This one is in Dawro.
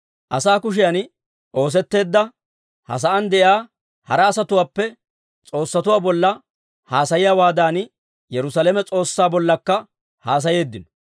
Asaa kushiyan oosetteedda, ha sa'aan de'iyaa hara asatuwaappe s'oossatuwaa bolla haasayiyaawaadan, Yerusaalame S'oossaa bollakka haasayeeddino.